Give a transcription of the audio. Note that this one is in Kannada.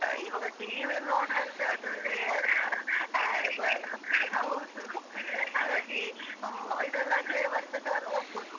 ಇವಾಗ TV ಯಲ್ಲ್‌ ನೋಡುದಂದ್ರೆ ಅದ್ರಲ್ಲಿ ad ಬರ್, ಹೌದು , ಹಾಗಾಗಿ ಇದ್ರಲ್ಲಾದ್ರೆ ಒಂದೇ ಸಲ ನೋಡ್ಬೋದು.